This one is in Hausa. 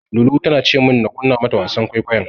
Lulu tana ce min na kunna mata wasan kwaikwayon.